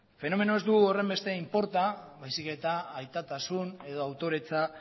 fenomenoak ez du horrenbeste inporta baizik eta aitatasun edo autoretza